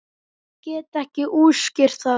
Ég get ekki útskýrt það.